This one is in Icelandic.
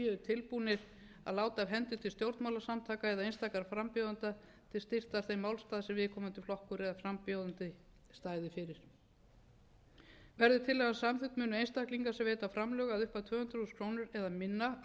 tilbúnir að láta af hendi til stjórnmálasamtaka eða einstakra frambjóðenda til styrktar þeim málstað sem viðkomandi flokkur eða frambjóðanda stæði fyrir verði tillagan samþykkt munu einstaklinga sem veita framlög upp að tvö hundruð þúsund krónur eða minna